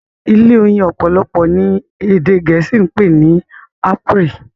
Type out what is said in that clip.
ilé oyin opolopo ni ede gèésì pé ní Apairy.